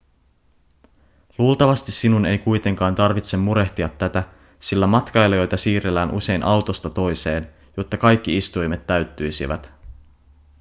luultavasti sinun ei kuitenkaan tarvitse murehtia tätä sillä matkailijoita siirrellään usein autosta toiseen jotta kaikki istuimet täyttyisivät